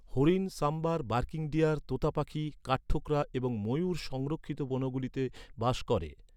হরিণ, sambar, barking deer, তোতাপাখি, কাঠঠোকরা এবং ময়ূর সংরক্ষিত বনগুলিতে বাস করে।